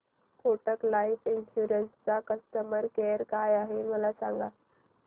Kotak life insurance चा customer care काय आहे मला सांगा